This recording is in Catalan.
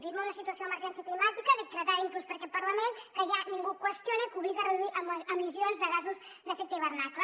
vivim en una situació d’emergència climàtica decretada inclús per aquest parlament que ja ningú qüestiona i que obliga a reduir emissions de gasos d’efecte hivernacle